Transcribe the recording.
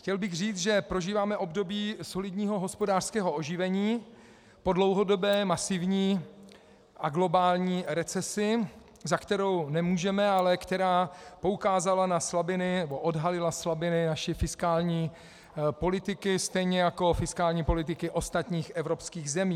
Chtěl bych říci, že prožíváme období solidního hospodářského oživení po dlouhodobé masivní a globální recesi, za kterou nemůžeme, ale která poukázala na slabiny, nebo odhalila slabiny naší fiskální politiky stejně jako fiskální politiky ostatních evropských zemí.